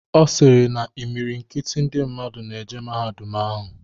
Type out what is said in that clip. Ọ sịrị na imilikiti ndị mmadụ na-eje mahadum ahụ.